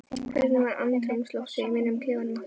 Hvernig var andrúmsloftið í mönnum í klefanum eftir leik?